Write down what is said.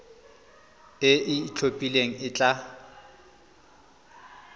e e itlhophileng e tla